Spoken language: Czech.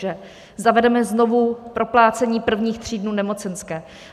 Že zavedeme znovu proplácení prvních tří dnů nemocenské.